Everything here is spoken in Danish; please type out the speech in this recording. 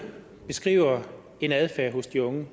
beskriver en adfærd hos de unge